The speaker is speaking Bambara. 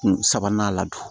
Kun sabanan la